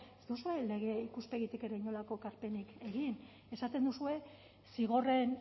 ez duzue lege ikuspegitik ere inolako ekarpenik egin esaten duzue zigorren